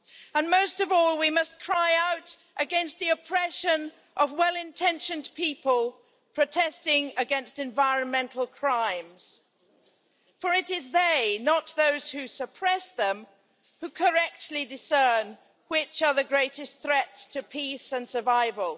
And most of all, we must cry out against the oppression of well intentioned people protesting against environmental crimes, for it is they, not those who suppress them, who correctly discern which are the greatest threats to peace and survival.